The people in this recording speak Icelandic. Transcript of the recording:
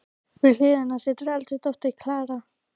Við hlið hennar situr eldri dóttirin, Klara.